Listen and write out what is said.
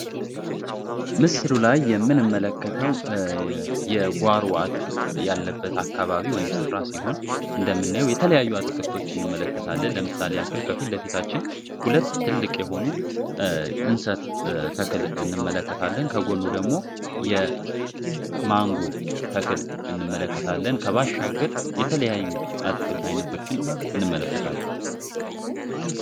ምስሩ ላይ የምን መለከተው የጓሩ አትክልት ያለበት አካባቢ ወይም ስፍራ ሲሆን እንደምናዩ የተለያዩ አትክልቶች እንመለከታለን። ለምሳሌ አክል ከፊልለፊታችን ሁለት ትልቅ የሆኑ እንሰት ተክል እንመለከታለን፤ ከጎኑ ደግሞ የማንጎ ተክል እንመለከታለን፤ ከባሻግር የተለያዩ አትክልት አይነቶችን እንመለከታለን።